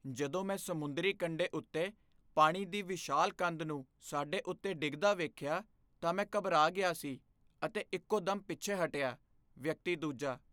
ਜਦੋਂ ਮੈਂ ਸਮੁੰਦਰੀ ਕੰਢੇ ਉੱਤੇ ਪਾਣੀ ਦੀ ਵਿਸ਼ਾਲ ਕੰਧ ਨੂੰ ਸਾਡੇ ਉੱਤੇ ਡਿੱਗਦਾ ਵੇਖਿਆ ਤਾਂ ਮੈਂ ਘਬਰਾ ਗਿਆ ਸੀ ਅਤੇ ਇੱਕੋ ਦਮ ਪਿੱਛੇ ਹਟਿਆ ਵਿਅਕਤੀ ਦੂਜਾ